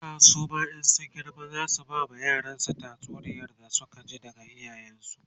yara suma in sun girma zasu bama yaransu tatsuniyar da Suka ji daga iyayen su